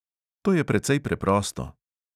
To je precej preprosto.